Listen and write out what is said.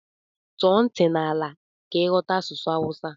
Tọọ ntị n'ala ka ighọta asụsụ Awusa.